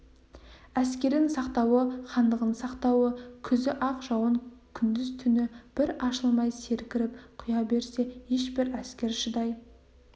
әскерін сақтауы хандығын сақтауы күзі ақ жауын күндіз-түні бір ашылмай сіркіреп құя берсе ешбір әскер шыдай